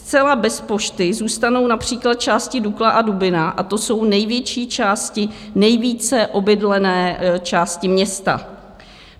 Zcela bez pošty zůstanou například části Dukla a Dubina a to jsou největší části, nejvíce obydlené části města."